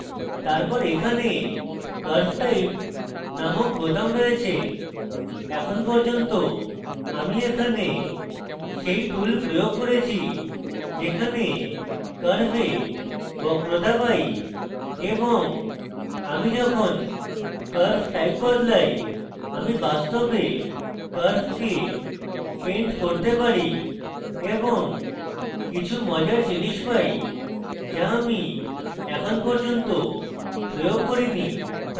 তারপর এখানে curve type নামক বোতাম রয়েছে এখন পর্যন্ত আমি এখানে সেই tool প্রয়োগ করেছি যেখানে curve বক্রতা পাই এবং আমি যখন curve type বদলাই আমি বাস্তবে curve paint করতে পারি এবং কিছু মজার জিনিস পাই যা আমি এখন পর্যন্ত প্রয়োগ করিনি